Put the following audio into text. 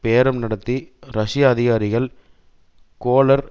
பேரம் நடத்திய ரஷ்ய அதிகாரிகள் கோலர்